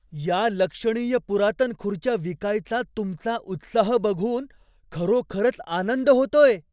या लक्षणीय पुरातन खुर्च्या विकायचा तुमचा उत्साह बघून खरोखरच आनंद होतोय.